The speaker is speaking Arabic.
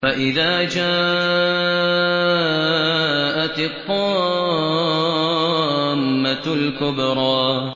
فَإِذَا جَاءَتِ الطَّامَّةُ الْكُبْرَىٰ